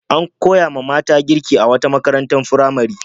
An koyawa ƴan mata girki a wata makarantar firamare.